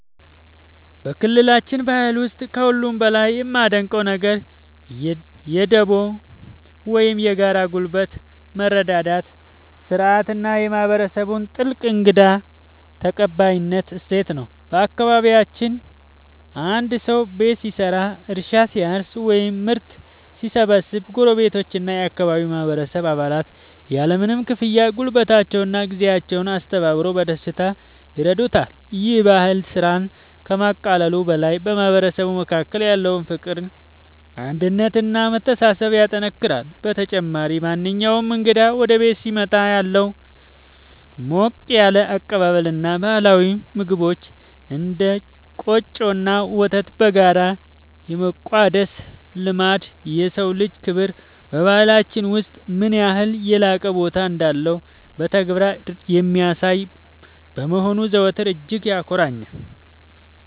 በክልላችን ባህል ውስጥ ከሁሉ በላይ የማደንቀው ነገር የ"ዱቦ" (Dubo) ወይም የጋራ ጉልበት መረዳዳት ሥርዓት እና የማህበረሰቡን ጥልቅ የእንግዳ ተቀባይነት እሴት ነው። በአካባቢያችን አንድ ሰው ቤት ሲሰራ፣ እርሻ ሲያርስ ወይም ምርት ሲሰበስብ ጎረቤቶችና የአካባቢው ማህበረሰብ አባላት ያለምንም ክፍያ ጉልበታቸውንና ጊዜያቸውን አስተባብረው በደስታ ይረዱታል። ይህ ባህል ስራን ከማቃለሉ በላይ በማህበረሰቡ መካከል ያለውን ፍቅር፣ አንድነት እና መተሳሰብ ያጠናክራል። በተጨማሪም፣ ማንኛውም እንግዳ ወደ ቤት ሲመጣ ያለው ሞቅ ያለ አቀባበል እና ባህላዊ ምግቦችን (እንደ ቆጮ እና ወተት) በጋራ የመቋደስ ልማድ፣ የሰው ልጅ ክብር በባህላችን ውስጥ ምን ያህል የላቀ ቦታ እንዳለው በተግባር የሚያሳይ በመሆኑ ዘወትር እጅግ ያኮራኛል።